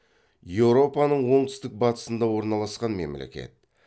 еуропаның оңтүстік батысында орналасқан мемлекет